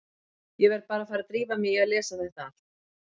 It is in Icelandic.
Ég verð bara að fara að drífa mig í að lesa þetta allt.